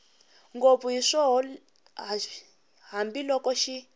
ngopfu hi swihoxo hambiloko xi